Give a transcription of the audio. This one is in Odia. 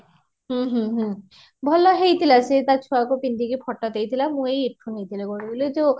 ହୁଁ ହୁଁ ହୁଁ ଭଲ ହେଈଥିଲା ସେ ତା ଛୁଆ କୁ ପିନ୍ଧେଈକି photo ଦେଈଥିଲା ମୁଁ ଏଈ ଏଈଠୁ ନେଇଥିଲି କୋଉଠୁ କହିଲୁ ଯୋଉ ?